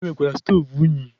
E nwekwara stoovu unyi.